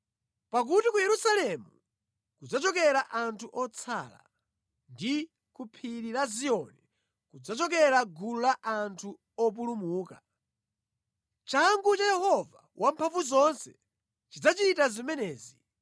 Pakuti ku Yerusalemu kudzachokera anthu otsala, ndi ku phiri la Ziyoni kudzachokera gulu la anthu opulumuka.” “Changu cha Yehova Wamphamvuzonse chidzachita zimenezi.